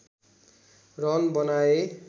run बनाए